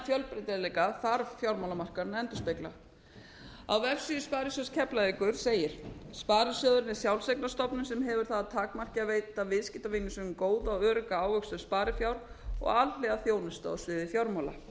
fjölbreytileika þar fjármálamarkaðurinn að endurspegla á vefsíðu sparisjóðs keflavíkur segir sparisjóðurinn er sjálfseignarstofnun á hefur það að takmarki að veita viðskiptavinum sínum góða og örugga ávöxtun sparifjár og alhliða þjónustu á sviði fjármála